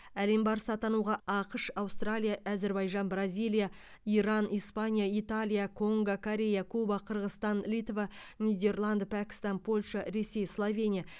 әлем барысы атануға ақш аустралия әзербайжан бразилия иран испания италия конго корея куба қырғызстан литва нидерланды пәкістан польша ресей словения